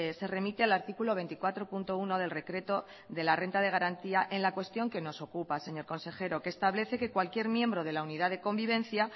se remite al artículo veinticuatro punto uno del decreto de la renta de garantía en la cuestión que nos ocupa señor consejero que establece que cualquier miembro de la unidad de convivencia